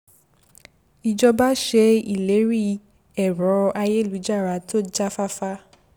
ìjọba ṣe ìlérí ẹ̀rọ-ayélujára tó já fáfá